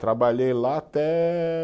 Trabalhei lá até